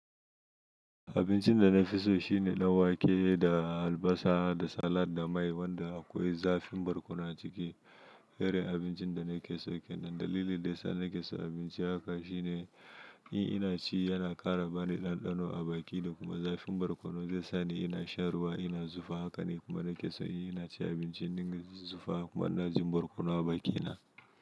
Abincin dana fiso shine ɗanwake da albasa da salad da mai wanda akwai zafin barkono aciki. Irin abincin dana keso kenan. Dalilin daysa nakeson abinci haka shine, in inaci yana ƙara bani ɗanɗano a baki dakuma zafin barkono zai sani ina shan ruwa ina zufa haka nikuma nakeso in incin abincin in dinga zufa kuma injin barkono a bakina.